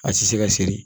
A ti se ka siri